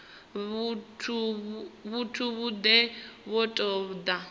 vhathu vhane vha ṱo ḓa